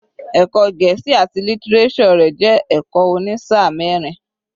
Ẹ̀kọ́ Gẹ̀ẹ́sì àti lítíréṣọ̀ rẹ̀ jẹ́ ẹ̀kọ́ òní sáà mẹ́rin.